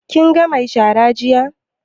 Kin ga mai shara jiya?